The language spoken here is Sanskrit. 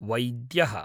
वैद्यः